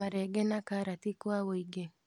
Marenge na karati kwa wũingĩ